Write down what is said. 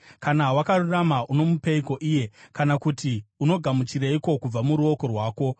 Kana wakarurama, unomupeiko iye, kana kuti anogamuchireiko kubva muruoko rwako?